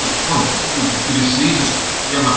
и он впитывается через слизистую прямо